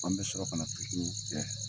An be sɔrɔ ka na kɛ.